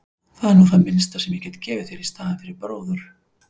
Það er nú það minnsta sem ég get gefið þér í staðinn fyrir bróður.